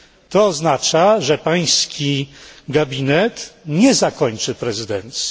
To oznacza, że Pański gabinet nie zakończy prezydencji.